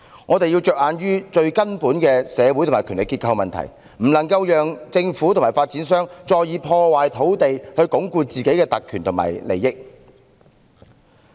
我們要着眼於最根本的社會和權力結構問題，不能讓政府和發展商再破壞土地以鞏固自身的特權及利益。